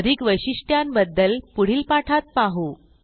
अधिक वैशिष्ट्यांबद्दल पुढील पाठात पाहु